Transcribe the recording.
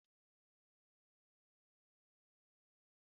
Ahụrụ ụtọ gésha n'anya